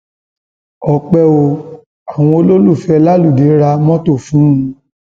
ọpẹ o àwọn olólùfẹ láludé ra mọtò fún un